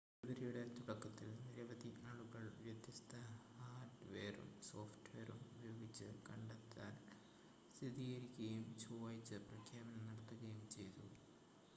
ഫെബ്രുവരിയുടെ തുടക്കത്തിൽ നിരവധി ആളുകൾ വ്യത്യസ്ത ഹാർഡ്‌വെയറും സോഫ്റ്റ്‌വെയറും ഉപയോഗിച്ച് കണ്ടെത്തൽ സ്ഥിരീകരിക്കുകയും ചൊവ്വാഴ്ച പ്രഖ്യാപനം നടത്തുകയും ചെയ്തു